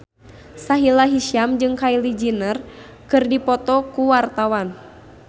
Sahila Hisyam jeung Kylie Jenner keur dipoto ku wartawan